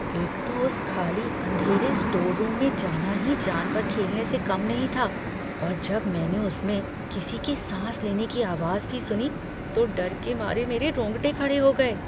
एक तो उस खाली, अँधेरे स्टोर रूम में जाना ही जान पर खेलने से कम नहीं था और जब मैंने उसमें किसी के साँस लेने की आवाज़ भी सुनी तो डर के मारे मेरे रोंगटे खड़े हो गए।